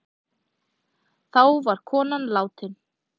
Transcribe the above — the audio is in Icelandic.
Þá var konan látin.